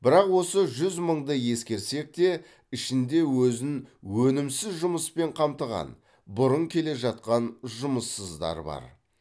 бірақ осы жүз мыңды ескерсек те ішінде өзін өнімсіз жұмыспен қамтыған бұрын келе жатқан жұмыссыздар бар